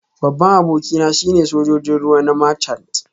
Babban abokina shine Sojojin ruwa na Marchant